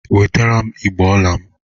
Wetara m igbe ọla m.!